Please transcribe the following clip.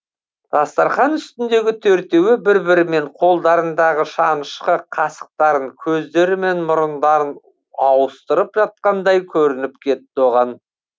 дастархан үстіндегі төртеуі бір бірімен қолдарындағы шанышқы қасықтарын көздері мен мұрындарын ауыстырып жатқандай көрініп кетті оған